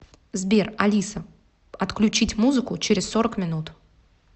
сбер алиса отключить музыку через сорок минут